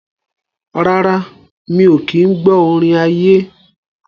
Rárá, mi ò kí ń gbọ́ orin ayé.